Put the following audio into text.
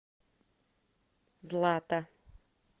злата